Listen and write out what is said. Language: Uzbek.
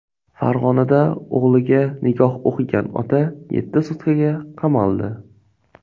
Farg‘onada o‘g‘liga nikoh o‘qigan ota yetti sutkaga qamaldi .